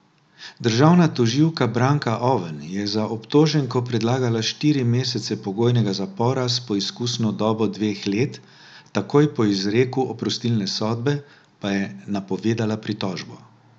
Državna tožilka Branka Oven je za obtoženko predlagala štiri mesece pogojnega zapora s preizkusno dobo dveh let, takoj po izreku oprostilne sodbe pa je napovedala pritožbo.